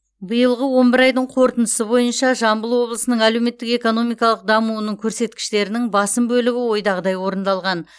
биылғы он бір айдың қорытындысы бойынша жамбыл облысының әлеуметтік экономикалық дамуының көрсеткіштерінің басым бөлігі ойдағыдай орындалған